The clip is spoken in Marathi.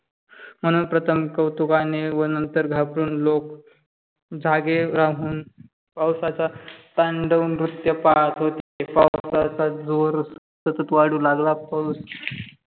म्हणून प्रथम कौतुकाने व नंतर घाबरून लोक जागे राहून पाऊसचा तांडव नृत्य पाहत होते. पावसाचा जोर सतत वाढू लागला. पाऊस